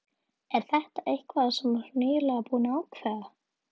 Er þetta eitthvað sem þú ert nýlega búinn að ákveða.